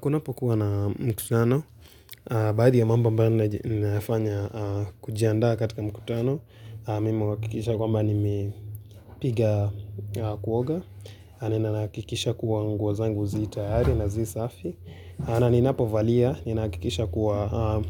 Kunapo kuwa na mkutano, baadhi ya mambo ambao ninafanya kujianda katika mkutano, mimi uhakikisha kwamba nimepiga kuoga, ninahakikisha kuwa nguo zangu zi tayari na zi safi, na ninapovalia, ninahakikisha kuwa